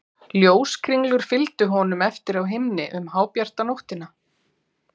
Ljóskringlur fylgdu honum eftir á himni um hábjarta nóttina.